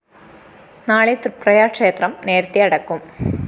നാളെ തൃപ്രയാര്‍ ക്ഷേത്രം നേരത്തെ അടയ്ക്കും